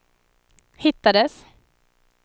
hittades